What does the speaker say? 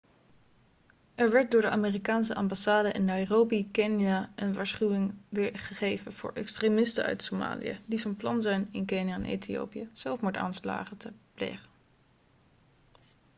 er werd door de amerikaanse ambassade in nairobi kenia een waarschuwing gegeven voor extremisten uit somalië' die van plan zijn in kenia en ethiopië zelfmoordaanslagen te plegen